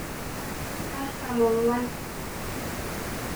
o artam onguan.